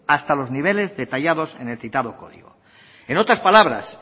hasta los niveles detallados en el citado código en otras palabras